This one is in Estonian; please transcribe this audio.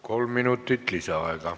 Kolm minutit lisaaega.